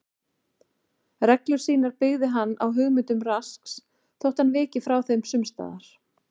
Reglur sínar byggði hann á hugmyndum Rasks þótt hann viki frá þeim sums staðar.